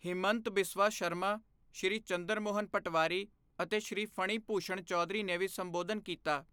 ਹਿਮੰਤ ਬਿਸਵਾ ਸਰਮਾ, ਸ਼੍ਰੀ ਚੰਦਰ ਮੋਹਨ ਪਟਵਾਰੀ, ਅਤੇ ਸ਼੍ਰੀ ਫਣੀ ਭੂਸ਼ਣ ਚੌਧਰੀ ਨੇ ਵੀ ਸੰਬੋਧਨ ਕੀਤਾ।